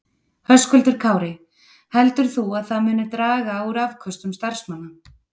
Höskuldur Kári: Heldur þú að það muni draga úr afköstum starfsmanna?